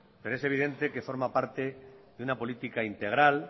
pero es evidente que forma parte de una política integral